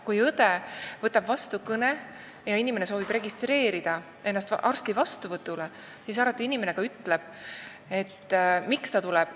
Kui õde võtab vastu kõne ja keegi soovib telefoni teel ennast registreerida arsti vastuvõtule, siis ta ka alati ütleb, miks ta tuleb.